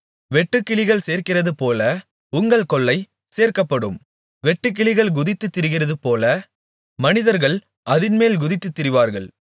வெட்டுக்கிளிகள் சேர்க்கிறதுபோல உங்கள் கொள்ளை சேர்க்கப்படும் வெட்டுக்கிளிகள் குதித்துத் திரிகிறதுபோல மனிதர்கள் அதின்மேல் குதித்துத் திரிவார்கள்